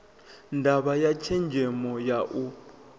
ndavha ya tshenzemo ya u